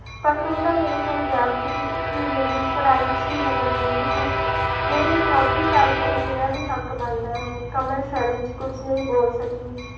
ਪਰ ਤੂੰ ਤਾਂ ਮੇਰੇ ਕੋਲ ਬੈਠਦੀ ਹੀ ਨਹੀਂ ਪੜ੍ਹਾਈ ਚ ਹੀ ਮਗਨ ਰਹਿੰਦੀ ਹੈ, ਮੇਰੀ ਇੱਕਲੋਤੀ ਸਾਲੀ ਹੈ ਮੇਰਾ ਵੀ ਹੱਕ ਬਣਦਾ ਹੈ, ਕਮਲ ਸ਼ਰਮ ਚ ਕੁੱਝ ਨਹੀਂ ਬੋਲ ਸਕੀ।